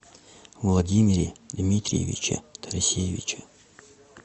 владимире дмитриевиче тарасевиче